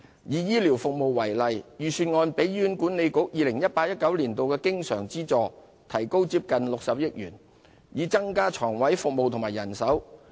以醫療服務為例，預算案提高 2018-2019 年度醫院管理局的經常資助接近60億元，以增加床位和醫護人手。